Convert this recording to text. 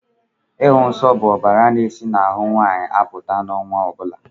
Ịhụ nsó bụ ọbàrà na-esi n'ahụ nwaanyị apụta n'ọnwa ọbula.